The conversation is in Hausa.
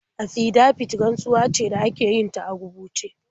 Afidabit rantsuwa ce da ake yin ta a rubuce.